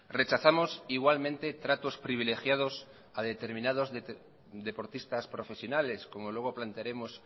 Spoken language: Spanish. rechazamos igualmente tratos privilegiados a determinados deportistas profesionales como luego plantearemos